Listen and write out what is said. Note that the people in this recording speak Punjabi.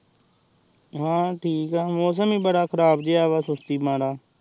ਹਾਂ ਠੀਕ ਆਹ ਮੌਸਮ ਹੀ ਬਣਦਾ ਖਰਾਬ ਜੇਹਾ ਆਹ ਸੁਸਤੀ ਵਾਲਾ